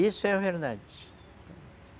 Isso é a verdade.